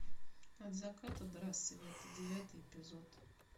от заката до рассвета девятый эпизод